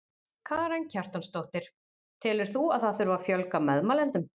Karen Kjartansdóttir: Telur þú að það þurfi að fjölga meðmælendum?